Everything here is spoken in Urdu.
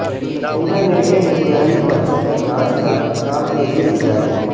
انٹرمیڈیٹ امتحانی پرچوں کی جانچ کا کام تیزی سے جاری